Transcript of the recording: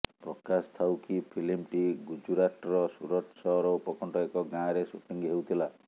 ପ୍ରକାଶ ଥାଉକି ଫିଲ୍ମଟି ଗୁଜୁରାଟ୍ର ସୁରତ ସହର ଉପକଣ୍ଠ ଏକ ଗାଁରେ ଶୁଟିଂ ହେଉଥିଲା